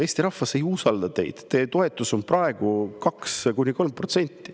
Eesti rahvas ei usalda teid, teie toetus on praegu 2–3%.